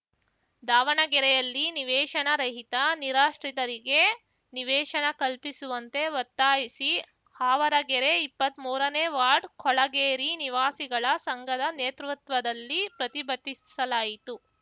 ದಾವಣಗೆರೆಯಲ್ಲಿ ನಿವೇಶನ ರಹಿತ ನಿರಾಶ್ರಿತರಿಗೆ ನಿವೇಶನ ಕಲ್ಪಿಸುವಂತೆ ಒತ್ತಾಯಿಸಿ ಆವರಗೆರೆ ಇಪ್ಪತ್ಮೂರನೇ ವಾರ್ಡ್ ಕೊಳಗೇರಿ ನಿವಾಸಿಗಳ ಸಂಘದ ನೇತೃತ್ವದಲ್ಲಿ ಪ್ರತಿಭಟಿಸಲಾಯಿತು